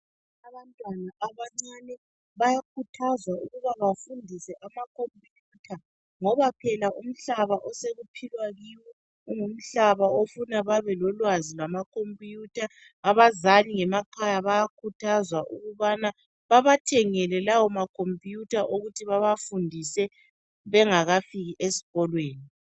Abantwana abancane bayakhuthazwa ukuba bafundiswe amakhomputha ngoba umhlaba osekuphilwa kiwo ngumhlaba ofuna babelolwazi lwamacomputer abazali ngemakhaya bayakhuthazwa ukubana babathengele lawa makhomputha ukuthi babafundise bengakafiki esikolweni.